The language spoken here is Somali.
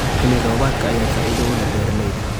Xilli roobaadka ayaa faa'iido u leh beeralayda.